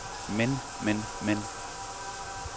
men men men